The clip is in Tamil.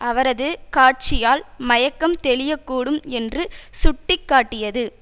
அவரது காட்சியால் மயக்கம் தெளியக்கூடும் என்று சுட்டி காட்டியது